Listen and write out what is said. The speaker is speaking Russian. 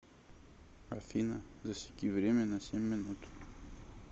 афина засеки время на семь минут